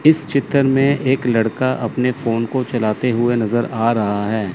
इस चित्र में एक लड़का अपने फ़ोन को चलाते हुए नज़र आ रहा है।